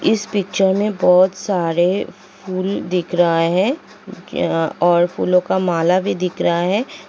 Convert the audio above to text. इस पिक्चर में बहुत सारें फुल दिख रहा है और फूलों की माला भी दिख रहा है।